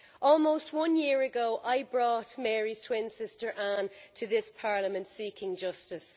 Almost one year ago, I brought Mary's twin sister Ann to this Parliament seeking justice.